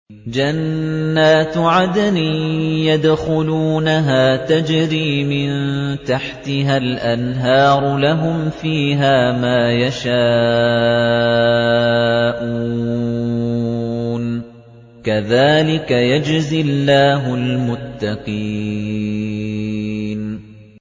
جَنَّاتُ عَدْنٍ يَدْخُلُونَهَا تَجْرِي مِن تَحْتِهَا الْأَنْهَارُ ۖ لَهُمْ فِيهَا مَا يَشَاءُونَ ۚ كَذَٰلِكَ يَجْزِي اللَّهُ الْمُتَّقِينَ